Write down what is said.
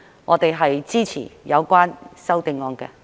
我們支持有關的修正案。